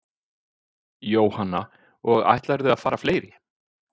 Jóhanna: Og ætlarðu að fara fleiri?